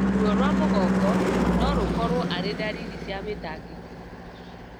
Ruo rwa mũgongo norũkorwo arĩ ndariri cia mĩtangĩko